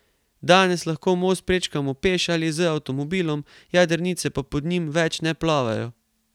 Danes lahko most prečkamo peš ali z avtomobilom, jadrnice pa pod njim več ne plovejo.